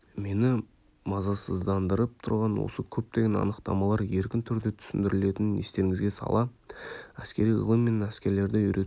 мені мазасыздандырып тұрған осы көптеген анықтамалар еркін түрде түсіндірілетінін естеріңізге сала әскери ғылым мен әскерлерді үйрету